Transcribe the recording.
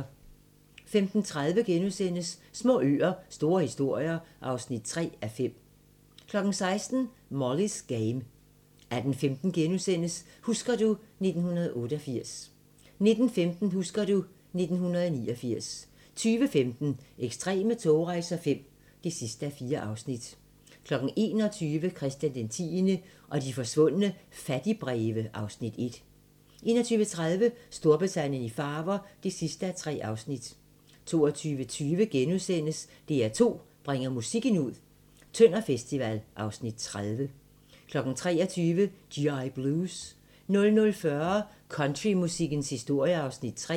15:30: Små øer - store historier (3:5)* 16:00: Molly's Game 18:15: Husker du ... 1988 * 19:15: Husker du ... 1989 20:15: Ekstreme togrejser V (4:4) 21:00: Christian X og de forsvundne fattigbreve (Afs. 1) 21:30: Storbritannien i farver (3:3) 22:20: DR2 bringer musikken ud - Tønder festival (Afs. 30)* 23:00: G.I. Blues 00:40: Countrymusikkens historie (Afs. 3)